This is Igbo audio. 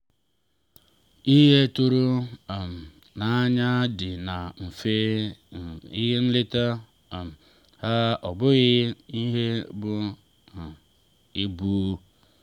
ihe tụrụ um n’anya dị na mfe nke nleta um ha ọ bụghị n’ihe buru um ibu.